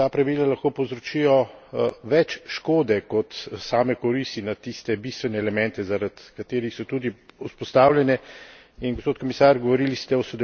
Obstaja tveganje, da ta pravila lahko povzročijo več škode kot same koristi na tiste bistvene elemente, zaradi katerih so tudi vzpostavljene.